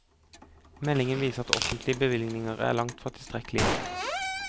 Meldingen viser at offentlige bevilgninger er langtfra tilstrekkelige.